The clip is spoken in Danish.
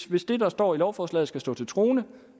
hvis det der står i lovforslaget skal stå til troende